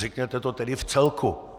Řekněte to tedy v celku.